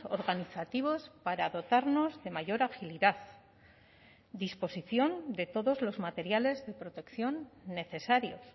organizativos para dotarnos de mayor agilidad disposición de todos los materiales de protección necesarios